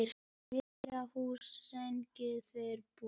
Lilla lús! sungu þeir báðir.